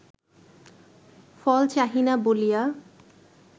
ফল চাহি না বলিয়া